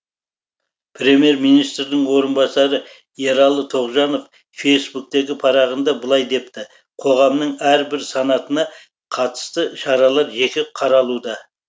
премьер министрдің орынбасары ералы тоғжанов фейсбуктегі парағында былай депті қоғамның әр бір санатына қатысты шаралар жеке қаралуда